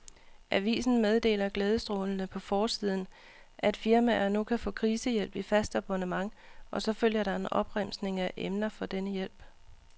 Avisen meddeler glædestrålende på forsiden, at firmaer nu kan få krisehjælp i fast abonnement, og så følger der en opremsning af emner for denne hjælp.